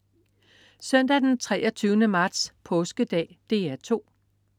Søndag den 23. marts. Påskedag - DR 2: